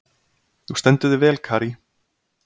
Þú stendur þig vel, Karí!